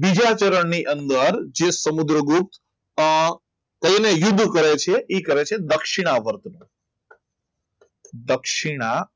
બીજા ચરણ ની અંદર જે સમુદ્રગુપ્ત યુદ્ધ કરે છે એ કરે છે એ કરે છે દક્ષિણાવ બળ દક્ષિણાવ